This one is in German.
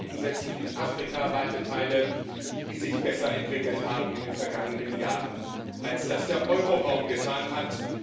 Wir haben selbst in Afrika weite Teile, die sich besser entwickelt haben in den vergangenen Jahren, als es das Euro Währungsgebiet getan hat.